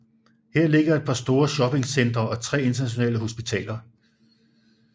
Her ligger et par store shopping centre og tre internationale hospitaler